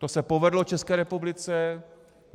To se povedlo České republice.